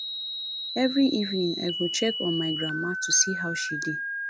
every evening i go check on my grandma to see how she dey